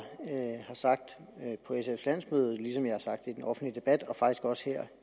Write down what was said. sagt på sfs landsmøde ligesom jeg har sagt det i den offentlige debat og faktisk også her